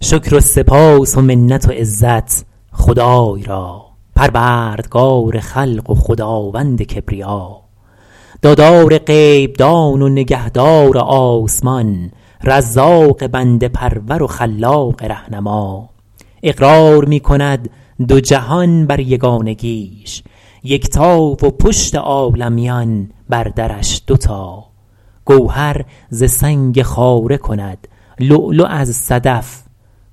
شکر و سپاس و منت و عزت خدای را پروردگار خلق و خداوند کبریا دادار غیب دان و نگهدار آسمان رزاق بنده پرور و خلاق رهنما اقرار می کند دو جهان بر یگانگیش یکتا و پشت عالمیان بر درش دو تا گوهر ز سنگ خاره کند لؤلؤ از صدف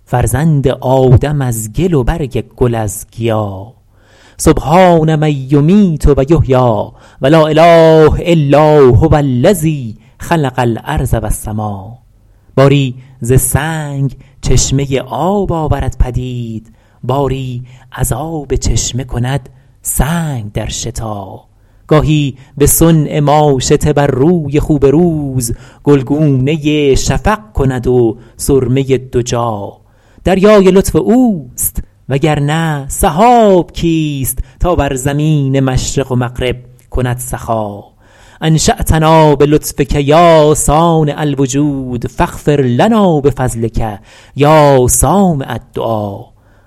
فرزند آدم از گل و برگ گل از گیا سبحان من یمیت و یحیی و لااله الا هوالذی خلق الارض والسما باری ز سنگ چشمه آب آورد پدید باری از آب چشمه کند سنگ در شتا گاهی به صنع ماشطه بر روی خوب روز گلگونه شفق کند و سرمه دجا دریای لطف اوست و گر نه سحاب کیست تا بر زمین مشرق و مغرب کند سخا انشاتنا بلطفک یا صانع الوجود فاغفرلنا بفضلک یا سامع الدعا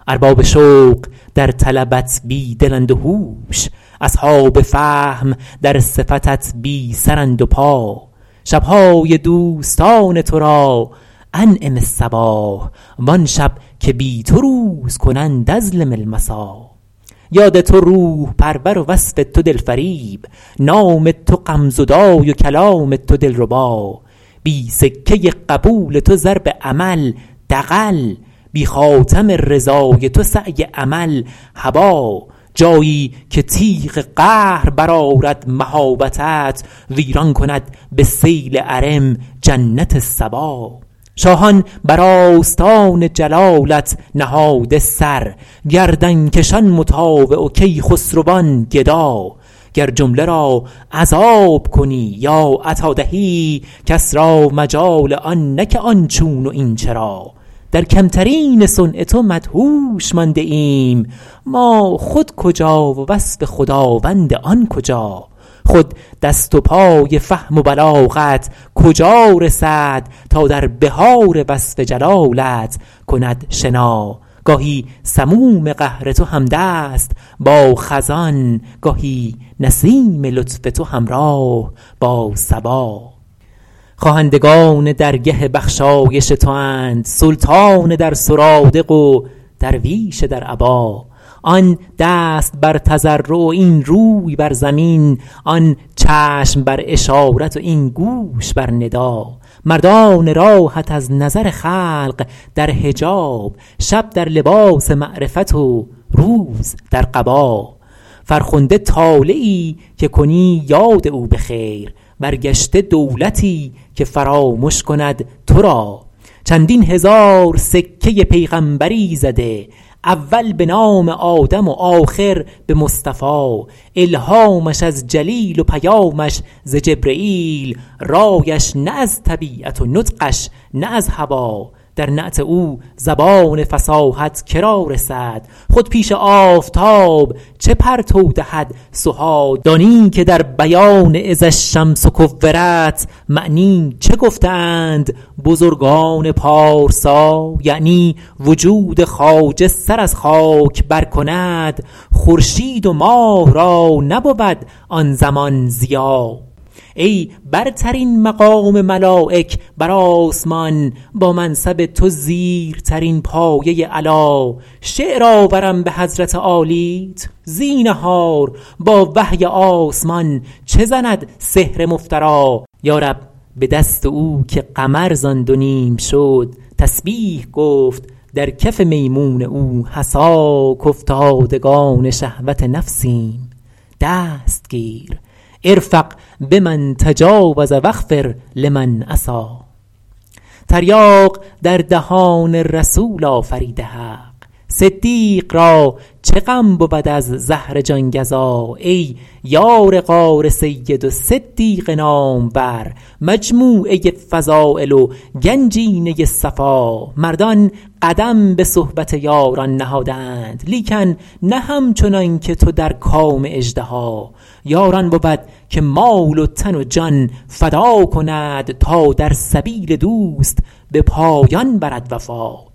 ارباب شوق در طلبت بی دلند و هوش اصحاب فهم در صفتت بی سرند و پا شبهای دوستان تو را انعم الصباح وآن شب که بی تو روز کنند اظلم المسا یاد تو روح پرور و وصف تو دلفریب نام تو غم زدای و کلام تو دلربا بی سکه قبول تو ضرب عمل دغل بی خاتم رضای تو سعی امل هبا جایی که تیغ قهر برآرد مهابتت ویران کند به سیل عرم جنت سبا شاهان بر آستان جلالت نهاده سر گردنکشان مطاوع و کیخسروان گدا گر جمله را عذاب کنی یا عطا دهی کس را مجال آن نه که آن چون و این چرا در کمترین صنع تو مدهوش مانده ایم ما خود کجا و وصف خداوند آن کجا خود دست و پای فهم و بلاغت کجا رسد تا در بحار وصف جلالت کند شنا گاهی سموم قهر تو همدست با خزان گاهی نسیم لطف تو همراه با صبا خواهندگان درگه بخشایش تو اند سلطان در سرادق و درویش در عبا آن دست بر تضرع و این روی بر زمین آن چشم بر اشارت و این گوش بر ندا مردان راهت از نظر خلق در حجاب شب در لباس معرفت و روز در قبا فرخنده طالعی که کنی یاد او به خیر برگشته دولتی که فرامش کند تو را چندین هزار سکه پیغمبری زده اول به نام آدم و آخر به مصطفی الهامش از جلیل و پیامش ز جبرییل رایش نه از طبیعت و نطقش نه از هوی در نعت او زبان فصاحت که را رسد خود پیش آفتاب چه پرتو دهد سها دانی که در بیان اذا الشمس کورت معنی چه گفته اند بزرگان پارسا یعنی وجود خواجه سر از خاک بر کند خورشید و ماه را نبود آن زمان ضیا ای برترین مقام ملایک بر آسمان با منصب تو زیرترین پایه علا شعر آورم به حضرت عالیت زینهار با وحی آسمان چه زند سحر مفتری یارب به دست او که قمر زآن دو نیم شد تسبیح گفت در کف میمون او حصا کافتادگان شهوت نفسیم دست گیر ارفق بمن تجاوز واغفر لمن عصا تریاق در دهان رسول آفریده حق صدیق را چه غم بود از زهر جانگزا ای یار غار سید و صدیق نامور مجموعه فضایل و گنجینه صفا مردان قدم به صحبت یاران نهاده اند لیکن نه همچنان که تو در کام اژدها یار آن بود که مال و تن و جان فدا کند تا در سبیل دوست به پایان برد وفا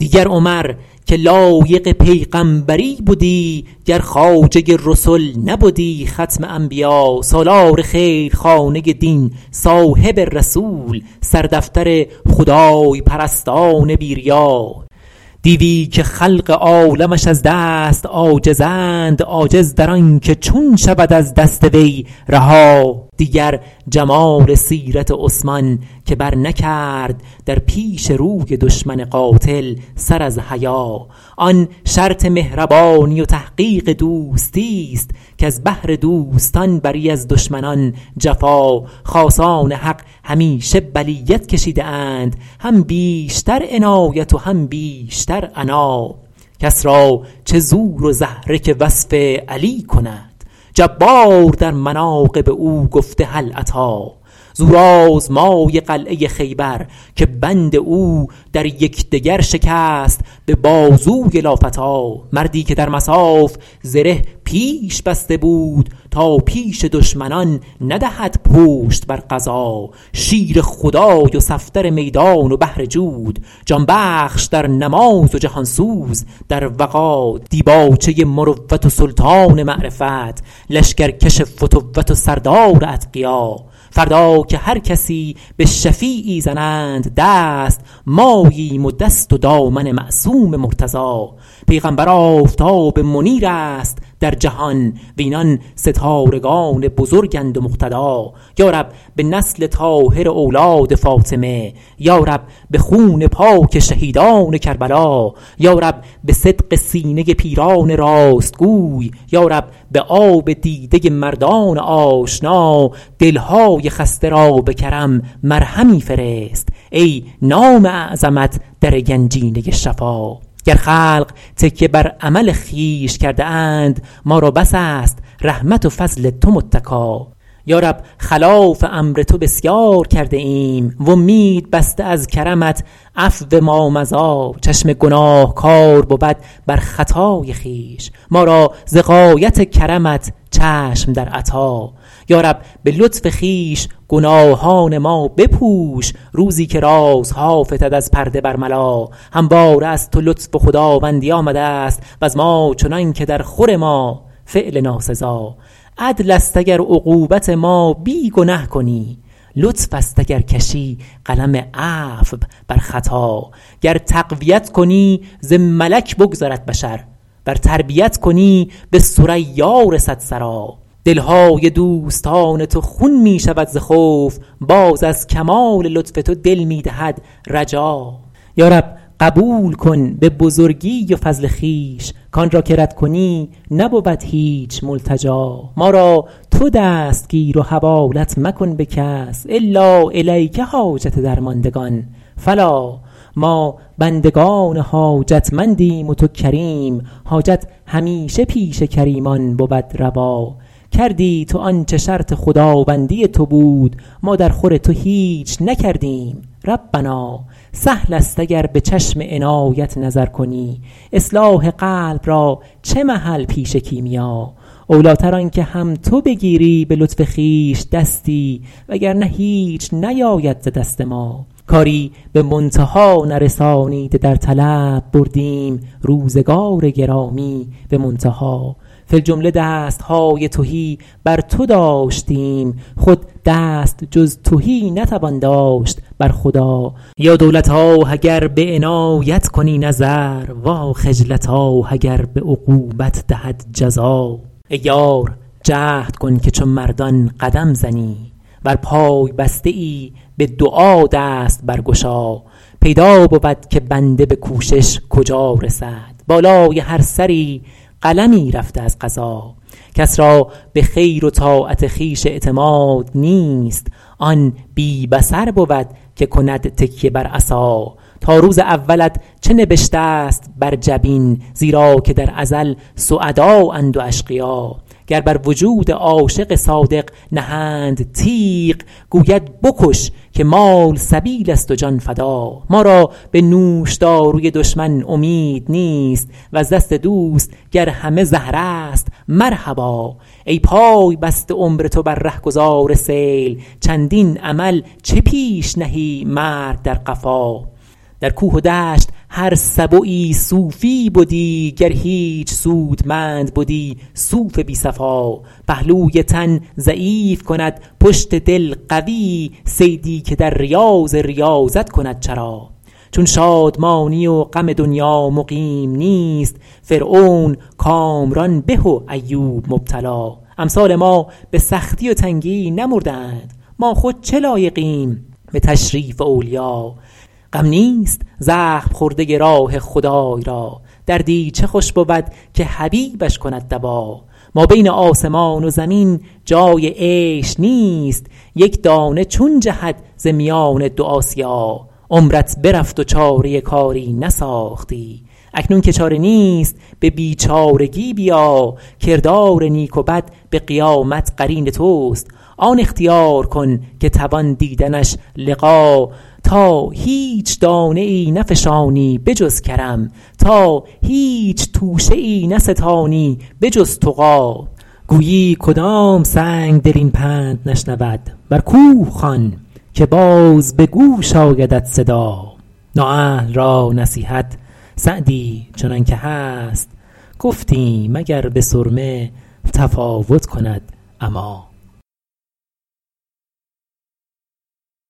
دیگر عمر که لایق پیغمبری بدی گر خواجه رسل نبدی ختم انبیا سالار خیل خانه دین صاحب رسول سردفتر خدای پرستان بی ریا دیوی که خلق عالمش از دست عاجزند عاجز در آن که چون شود از دست وی رها دیگر جمال سیرت عثمان که بر نکرد در پیش روی دشمن قاتل سر از حیا آن شرط مهربانی و تحقیق دوستیست کز بهر دوستان بری از دشمنان جفا خاصان حق همیشه بلیت کشیده اند هم بیشتر عنایت و هم بیشتر عنا کس را چه زور و زهره که وصف علی کند جبار در مناقب او گفته هل اتی زورآزمای قلعه خیبر که بند او در یکدگر شکست به بازوی لافتی مردی که در مصاف زره پیش بسته بود تا پیش دشمنان ندهد پشت بر غزا شیر خدای و صفدر میدان و بحر جود جانبخش در نماز و جهانسوز در وغا دیباچه مروت و سلطان معرفت لشکر کش فتوت و سردار اتقیا فردا که هر کسی به شفیعی زنند دست ماییم و دست و دامن معصوم مرتضی پیغمبر آفتاب منیر است در جهان وینان ستارگان بزرگند و مقتدا یارب به نسل طاهر اولاد فاطمه یارب به خون پاک شهیدان کربلا یارب به صدق سینه پیران راستگوی یارب به آب دیده مردان آشنا دلهای خسته را به کرم مرهمی فرست ای نام اعظمت در گنجینه شفا گر خلق تکیه بر عمل خویش کرده اند ما را بس است رحمت و فضل تو متکا یارب خلاف امر تو بسیار کرده ایم و امید بسته از کرمت عفو مامضی چشم گناهکار بود بر خطای خویش ما را ز غایت کرمت چشم در عطا یارب به لطف خویش گناهان ما بپوش روزی که رازها فتد از پرده برملا همواره از تو لطف و خداوندی آمده ست وز ما چنان که در خور ما فعل ناسزا عدل است اگر عقوبت ما بی گنه کنی لطف است اگر کشی قلم عفو بر خطا گر تقویت کنی ز ملک بگذرد بشر ور تربیت کنی به ثریا رسد ثری دلهای دوستان تو خون می شود ز خوف باز از کمال لطف تو دل می دهد رجا یارب قبول کن به بزرگی و فضل خویش کآن را که رد کنی نبود هیچ ملتجا ما را تو دست گیر و حوالت مکن به کس الا الیک حاجت درماندگان فلا ما بندگان حاجتمندیم و تو کریم حاجت همیشه پیش کریمان بود روا کردی تو آنچه شرط خداوندی تو بود ما در خور تو هیچ نکردیم ربنا سهل است اگر به چشم عنایت نظر کنی اصلاح قلب را چه محل پیش کیمیا اولیتر آن که هم تو بگیری به لطف خویش دستی و گر نه هیچ نیاید ز دست ما کاری به منتها نرسانیده در طلب بردیم روزگار گرامی به منتها فی الجمله دستهای تهی بر تو داشتیم خود دست جز تهی نتوان داشت بر خدا یا دولتاه اگر به عنایت کنی نظر واخجلتاه اگر به عقوبت دهد جزا ای یار جهد کن که چو مردان قدم زنی ور پای بسته ای به دعا دست برگشا پیدا بود که بنده به کوشش کجا رسد بالای هر سری قلمی رفته از قضا کس را به خیر و طاعت خویش اعتماد نیست آن بی بصر بود که کند تکیه بر عصا تا روز اولت چه نبشته ست بر جبین زیرا که در ازل سعدااند و اشقیا گر بر وجود عاشق صادق نهند تیغ گوید بکش که مال سبیل است و جان فدا ما را به نوشداروی دشمن امید نیست وز دست دوست گر همه زهر است مرحبا ای پای بست عمر تو بر رهگذار سیل چندین امل چه پیش نهی مرگ در قفا در کوه و دشت هر سبعی صوفیی بدی گر هیچ سودمند بدی صوف بی صفا پهلوی تن ضعیف کند پشت دل قوی صیدی که در ریاض ریاضت کند چرا چون شادمانی و غم دنیا مقیم نیست فرعون کامران به و ایوب مبتلا امثال ما به سختی و تنگی نمرده اند ما خود چه لایقیم به تشریف اولیا غم نیست زخم خورده راه خدای را دردی چه خوش بود که حبیبش کند دوا مابین آسمان و زمین جای عیش نیست یک دانه چون جهد ز میان دو آسیا عمرت برفت و چاره کاری نساختی اکنون که چاره نیست به بیچارگی بیا کردار نیک و بد به قیامت قرین توست آن اختیار کن که توان دیدنش لقا تا هیچ دانه ای نفشانی به جز کرم تا هیچ توشه ای نستانی به جز تقی گویی کدام سنگدل این پند نشنود بر کوه خوان که باز به گوش آیدت صدا نااهل را نصیحت سعدی چنان که هست گفتیم اگر به سرمه تفاوت کند عمی